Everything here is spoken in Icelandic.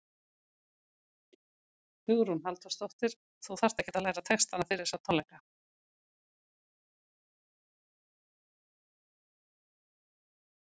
Hugrún Halldórsdóttir: Þú þarft ekkert að læra textana fyrir þessa tónleika?